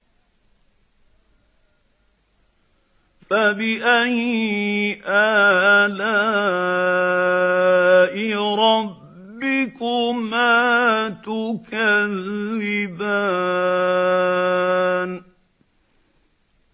فَبِأَيِّ آلَاءِ رَبِّكُمَا تُكَذِّبَانِ